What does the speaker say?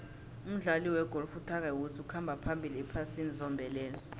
umdlali wegolf utiger woods ukhamba phambili ephasini zombelele